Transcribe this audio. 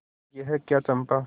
यह क्या चंपा